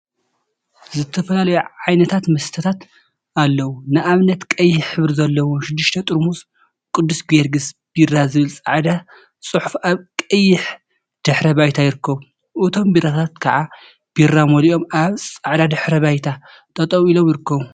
ዝተፈላዩ ዓይነት መስተታት አለው፡፡ ንአብነት ቀይሕ ሕብሪ ዘለዎም ሽዱሽተ ጠርሙዝ ቅዱስ ጊዮርጊሰ ቢራ ዝብል ፃዕዳ ፅሑፍ አብ ቀይሕ ድሕረ ባይታ ይርከቡ፡፡ እቶም ቢራታት ከዓ ቢራ መሊኦም አብ ፃዕዳ ድሕረ ባይታ ጠጠው ኢሎም ይርከቡ፡፡